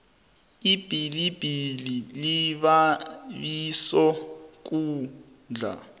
ibilibili libabiso ukudla